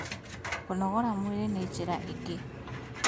Kũnogora mwĩrĩ nĩ njĩra ĩngĩ